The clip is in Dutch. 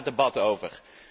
Daar gaat het debat over.